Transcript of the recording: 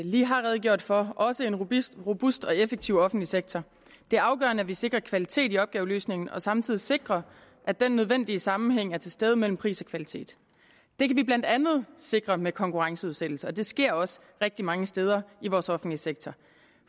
lige har redegjort for også en robust robust og effektivt offentlige sektor det er afgørende at vi sikrer kvalitet i opgaveløsningen og samtidig sikrer at den nødvendige sammenhæng er til stede mellem pris og kvalitet det kan vi blandt andet sikre med konkurrenceudsættelse og det sker også rigtig mange steder i vores offentlige sektor